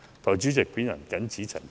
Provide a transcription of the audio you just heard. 代理主席，我謹此陳辭。